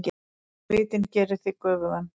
Svitinn gerir þig göfugan.